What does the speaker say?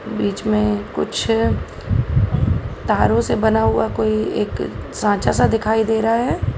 बीच में कुछ तारों से बना हुआ कोई एक साँचा सा दिखाई दे रहा है।